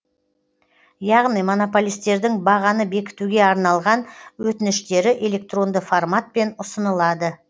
яғни монополистердің бағаны бекітуге арналған өтініштері электронды форматпен ұсынылады